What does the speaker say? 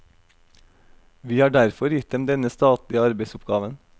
Vi har derfor gitt dem denne statlige arbeidsoppgaven.